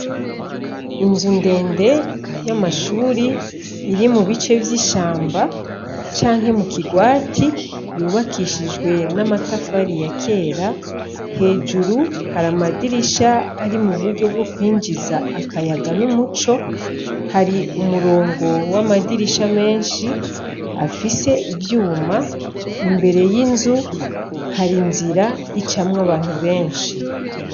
Inzu ndende y’amashuri, iri mubice vy’ishamba, canke mukigwati , yubakishijwe n’amatafari ya kera, hejuru har’amadirisha ari muburyo yo kwinjiza akayaga n’umuco, hari umurongo w’amadirisha menshi afise ivyuma, imbere y’inzu, har’inzira icamw’abantu benshi.